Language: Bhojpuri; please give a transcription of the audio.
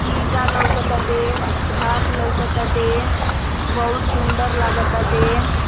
ईटा लउकताटे घास लउकताटे बहुत सुन्दर लउकताटे।